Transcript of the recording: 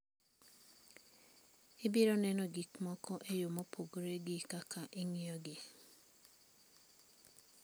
Ibiro neno gik moko e yo mopogore gi kaka ing'iyogi.